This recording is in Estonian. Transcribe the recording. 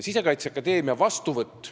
Sisekaitseakadeemia vastuvõtt.